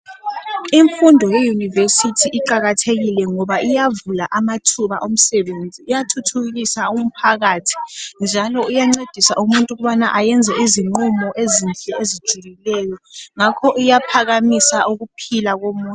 Imfundo yeYunivesi iqakathekile ngoba iyavula amathuba omsebenzi, iyathuthukisa umphakathi njalo iyancedisa ukubana umuntu ayenze izinqumo ezinhle ezijulileyo njalo iyaphakamisa ukuphila komuntu.